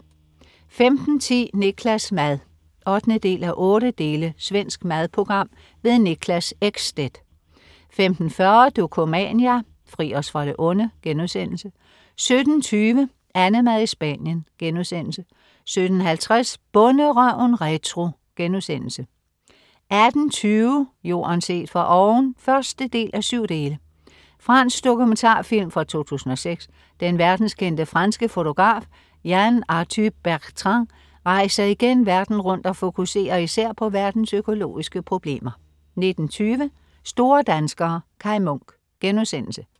15.10 Niklas' mad 8:8. Svensk madprogram. Niklas Ekstedt 15.40 Dokumania: Fri os fra det onde* 17.20 AnneMad i Spanien* 17.50 Bonderøven retro* 18.20 Jorden set fra oven 1:7. Fransk dokumentarfilm fra 2006. Den verdenskendte, franske fotograf Yann Arthus-Bertrand rejser igen verden rundt og fokuserer især på verdens økologiske problemer 19.20 Store danskere. Kai Munk*